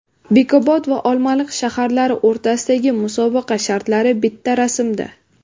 Bekobod va Olmaliq shaharlari o‘rtasidagi musobaqa shartlari bitta rasmda .